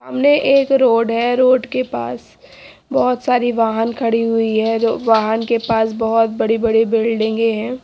सामने एक रोड है रोड के पास बहोत सारी वाहन खड़ी हुई है जो वाहन के पास बहोत बड़ी बड़ी बिल्डिंगे हैं।